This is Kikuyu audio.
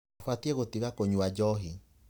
Ũbatiĩ gũtiga kũnyua njohi.